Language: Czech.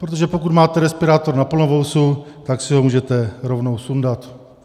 Protože pokud máte respirátor na plnovousu, tak si ho můžete rovnou sundat.